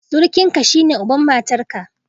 Surukinka, shine uban matarka.